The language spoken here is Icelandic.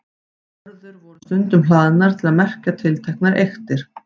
Vörður voru stundum hlaðnar til að merkja tilteknar eyktir.